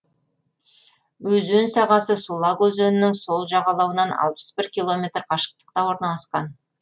өзен сағасы сулак өзенінің сол жағалауынан километр қашықтықта орналасқан